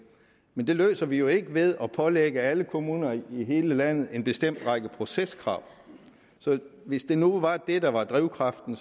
men det løser vi jo ikke ved at pålægge alle kommuner i hele landet en bestemt række proceskrav så hvis det nu var det der var drivkraften